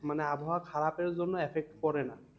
মানে আবহাওয়া খারাপের জন্য effect পরে না।